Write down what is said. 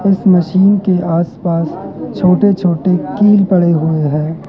इस मशीन के आसपास छोटे छोटे कील पड़े हुए हैं।